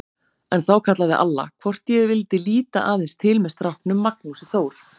En þá kallaði Alla, hvort ég vildi líta aðeins til með stráknum Magnúsi Þór.